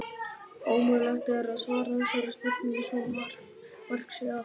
Ómögulegt er að svara þessari spurningu svo mark sé að.